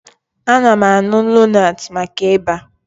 Ana m aṅụ lonat maka Ịba